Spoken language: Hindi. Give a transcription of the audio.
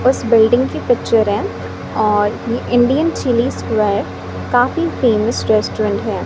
उस बिल्डिंग की पिक्चर है और ये इंडियन चिली स्क्वायर काफी फेमस रेस्टोरेंट है।